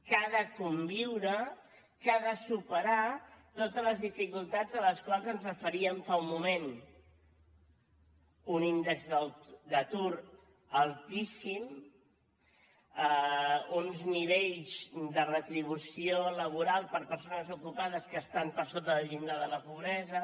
que ha de conviure que ha de superar totes les dificultats a les quals ens referíem fa un moment un índex d’atur altíssim uns nivells de retribució laboral per a persones ocupades que estan per sota del llindar de la pobresa